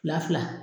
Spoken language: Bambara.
Fila fila